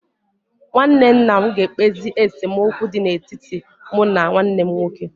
Nwanne nna ga-ekpezi esemokwu dị n'etiti mụ na nwanne m nwoke.